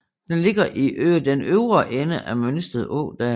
Den ligger i den øvre ende af Mønsted Ådal